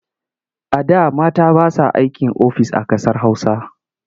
A da mata ba sa aikin ofis a ƙasar Hausa.